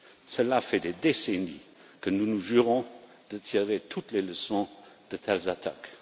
Cela fait des décennies que nous nous jurons de tirer toutes les leçons de telles attaques.